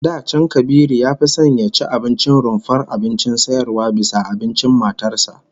Da can Kabiru ya fi son ya ci abincin rumfar abincin sayarwa bisa abincin matar sa